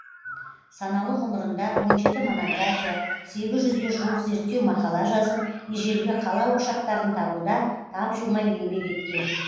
саналы ғұмырында он жеті монография сегіз жүзге жуық зерттеу мақала жазып ежелгі қала ошақтарын табуда тапжылмай еңбек еткен